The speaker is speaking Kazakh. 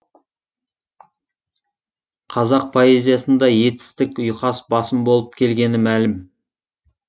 қазақ поэзиясында етістік ұйқас басым болып келгені мәлім